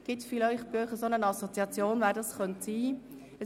Gibt es bei Ihnen eine Assoziation, wer aus Gerzensee infrage kommt?